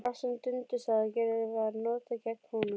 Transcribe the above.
Allt sem Dundi sagði og gerði var notað gegn honum.